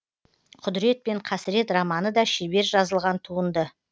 құдірет пен қасірет романы да шебер жазылған туынды